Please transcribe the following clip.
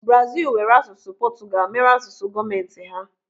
Brazil were asụsụ Portugal mere asụsụ gọọmenti ha.